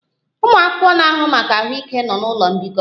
Ụmụ akwụkwọ na-ahụ maka ahụike nọ n'ụlọ mbikọ